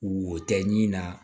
Wo tɛ ɲin na